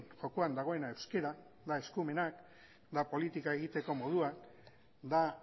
jokoan dagoena euskara da eskumenak da politika egiteko modua da